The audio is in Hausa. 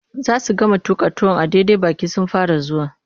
Za su gama tuƙa tuwon a daidai baƙi sun fara zuwa.